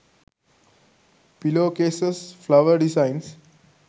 pillow cases flower designs